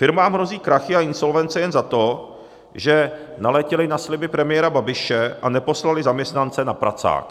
Firmám hrozí krachy a insolvence jen za to, že naletěly na sliby premiére Babiše a neposlaly zaměstnance na pracák.